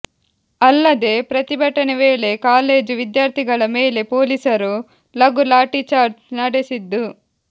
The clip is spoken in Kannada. ಅಲ್ಲದೇ ಪ್ರತಿಭಟನೆ ವೇಳೆ ಕಾಲೇಜು ವಿದ್ಯಾರ್ಥಿಗಳ ಮೇಲೆ ಪೊಲೀಸರು ಲಘು ಲಾಠಿ ಚಾರ್ಚ್ ನಡೆಸಿದ್ದು